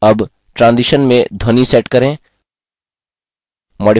अब transition में ध्वनि set करें